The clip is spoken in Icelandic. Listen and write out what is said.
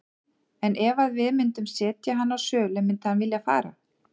En ef að við myndum setja hann á sölu myndi hann vilja fara?